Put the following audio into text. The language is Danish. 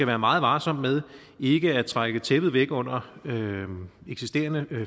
være meget varsom med ikke at trække tæppet væk under eksisterende